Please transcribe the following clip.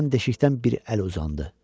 Birdən deşikdən bir əl uzandı.